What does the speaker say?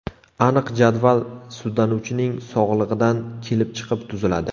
Aniq jadval sudlanuvchining sog‘lig‘idan kelib chiqib tuziladi.